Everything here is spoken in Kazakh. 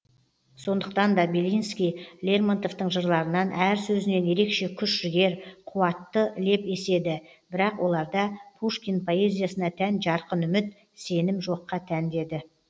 сондықтан да белинский лермонтовтың жырларынан әр сөзінен ерекше күш жігер қуатты леп еседі бірақ оларда пушкин поэзиясына тән жарқын үміт сенім жоққа тән деді